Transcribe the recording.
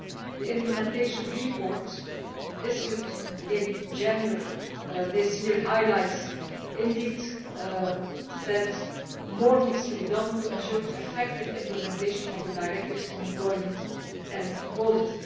The implementation report issued in January this year highlights, indeed, that more needs to be done to ensure effective implementation of the directives on employment equality.